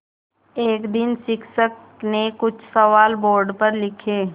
एक दिन शिक्षक ने कुछ सवाल बोर्ड पर लिखे